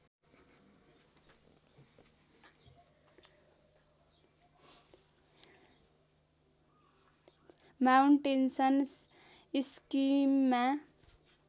mountains स्किममा